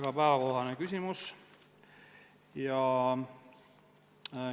" Väga päevakohane küsimus!